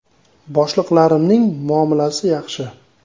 Boshliqlarimning muomalasi yaxshi.